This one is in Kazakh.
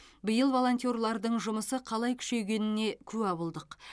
биыл волонтерлардың жұмысы қалай күшейгеніне куә болдық